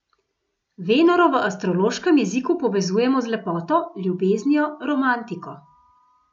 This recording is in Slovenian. Venero v astrološkem jeziku povezujemo z lepoto, ljubeznijo, romantiko.